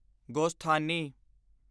ਗੋਸਥਾਨੀ